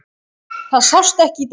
Það sást ekki í dag.